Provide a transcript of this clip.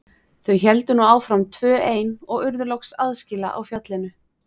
Þau héldu nú áfram tvö ein og urðu loks aðskila á fjallinu.